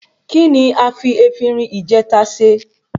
Kí ni a fi efinrin ìjèta se?